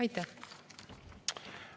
Aitäh!